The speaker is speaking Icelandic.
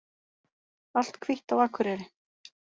Allt hvítt á Akureyri